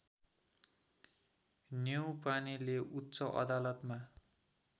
नेउपानेले उच्च अदालतमा